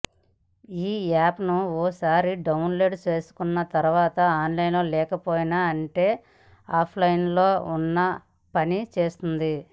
ఈ యాప్ను ఓసారి డౌన్ లోడ్ చేసుకున్న తర్వాత ఆన్లైన్లో లేకపోయినా అంటే ఆఫ్లైన్లో ఉన్నా పని చేస్తుంది